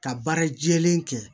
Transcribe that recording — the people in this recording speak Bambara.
Ka baara jɛlen kɛ